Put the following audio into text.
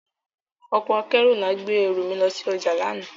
Ọkọ akẹru nla gbe eru mi lo si oja lana.